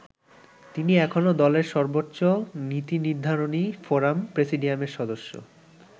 তিনি এখনো দলের সর্বোচ্চ নীতিনির্ধারণী ফোরাম প্রেসিডিয়ামের সদস্য।